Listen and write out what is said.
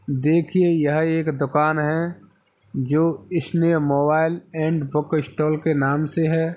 देखिये यह एक दुकान है जो Sneh mobile and book stall के नाम से है।